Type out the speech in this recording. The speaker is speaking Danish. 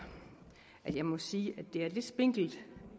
at jeg må sige at det er lidt spinkelt